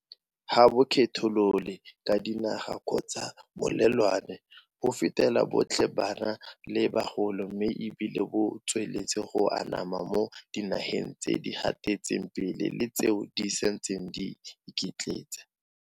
Ga bo kgetholole ka dinaga kgotsa melelwane, bo fetela botlhe bana le bagolo mme e bile bo tsweletse go anama mo dinageng tse di gatetseng pele le tseo di santseng di iketletsa.